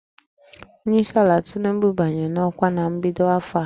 Onye isi ala Tinubu banyere n'ọkwa na mbido afọ a